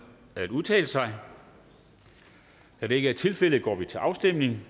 at udtale sig da det ikke er tilfældet går vi til afstemning